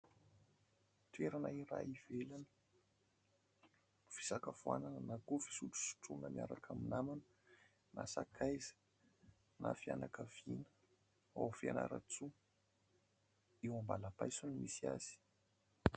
Toerana iray ivelany, fisakafoana na koa fisotrosotrona miaraka amin'ny namana, na sakaiza, na fianakaviana. Ao Fianaratsoa eo ambalapaiso ny misy azy.